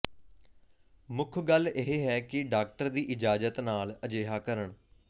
ਮੁੱਖ ਗੱਲ ਇਹ ਹੈ ਕਿ ਡਾਕਟਰ ਦੀ ਇਜਾਜ਼ਤ ਨਾਲ ਅਜਿਹਾ ਕਰਨ